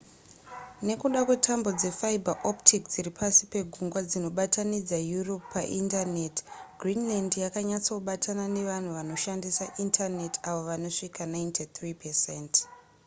nekuda kwetambo dzefiber optic dziri pasi pegungwa dzinobatanidza europe paindaneti greenland yakanyatsobatana ne vanhu vanoshandisa indaneti avo vanosvika 93%